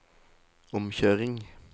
omkjøring